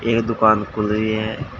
ये दुकान खुल रही है।